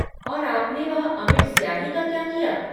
और आपने वह अमिट स्याही का क्या किया?